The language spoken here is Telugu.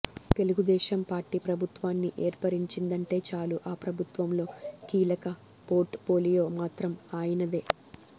తెలుగుదేశం పార్టీ ప్రభుత్వాన్ని ఏర్పరిచిందంటే చాలు ఆ ప్రభుత్వంలో కీలక పోర్ట్ పోలియో మాత్రం ఆయనదే